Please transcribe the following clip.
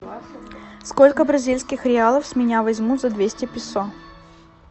сколько бразильских реалов с меня возьмут за двести песо